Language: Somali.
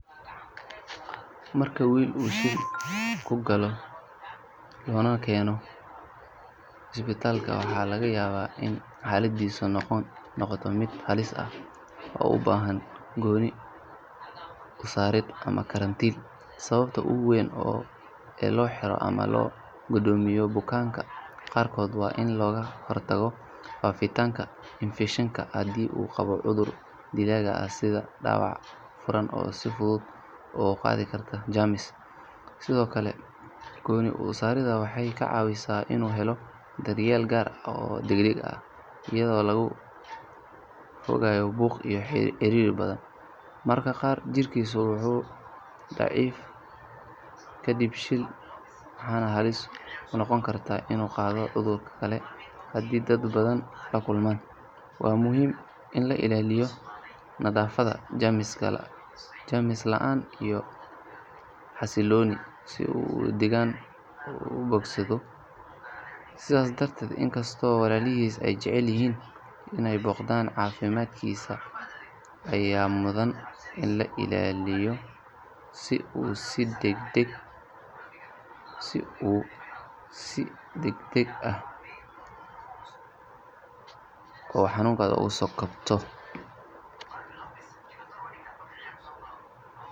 Marka oo will uu Jin kugaloh lona keenoh isbitalka waxalagayabah in xaladisa noqotoh mid halis aah oo u bahan kuunin sarin amah karanteet, sawabta ugu weyn oo loxiroh boganka qarkoot a in loga hortagoh ifeshanka handu uu qaboh cudurka dilaga ah sitha dawac futhut uga qaathi kartoh sethokali kuunin u sareda waxa ka cawisah inu heloh daryeel kaar aah eyadi lagu hegayoh buuq iyo cariri bathan, marka Qaar jirkisu wuu lacif kadib waxbanah halis kunoqooni kartah inu Qathoh cudurkakali handi dad batha lakulman, wa in lailaliyoh nathafada jameskali laan iyo xasiloni oo u bogsadoh sethabdarteed inkastabo walalhis ay jaceelyahin inay noqdan cafimadkisa Aya muthan in la ilaliyoh si oo si dagdag oo xanunka ugu so koobtoh.